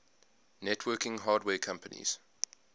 networking hardware companies